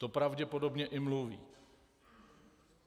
To pravděpodobně i mluví.